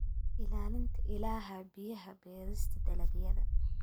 Ilaalinta Ilaha Biyaha Beerista dalagyada.